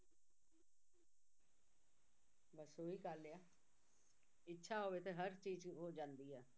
ਬਸ ਉਹੀ ਗੱਲ ਆ ਇੱਛਾ ਹੋਵੇ ਤਾਂ ਹਰ ਚੀਜ਼ ਹੋ ਜਾਂਦੀ ਆ